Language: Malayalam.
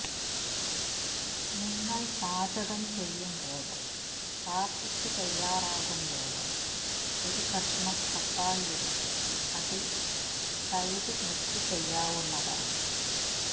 നിങ്ങള് പാചകം ചെയ്യുമ്പോഴോ പാര്ട്ടിക്ക് തയ്യാറാകുമ്പോഴോ ഒരു കഷ്ണം തക്കാളി എടുത്ത് അതില് തൈര് മിക്സ് ചെയ്യാവുന്നതാണ്